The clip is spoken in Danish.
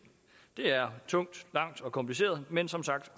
det er tungt langt og kompliceret men som sagt